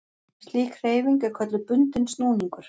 Slík hreyfing er kölluð bundinn snúningur.